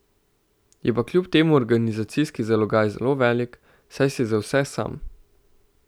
Je pa kljub temu organizacijski zalogaj zelo velik, saj si za vse sam.